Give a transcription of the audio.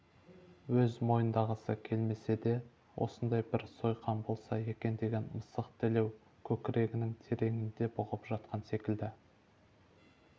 өз мойындағысы келмесе де осындай бір сойқан болса екен деген мысық тілеу көкрегінің тереңінде бұғып жатқан секілді